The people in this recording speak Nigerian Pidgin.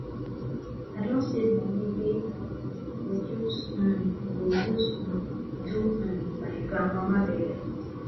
i don save moni wey i um go use um go use um do um my grandmama burial